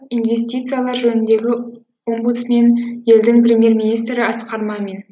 инвестициялар жөніндегі омбудсмен елдің премьер министрі асқар мамин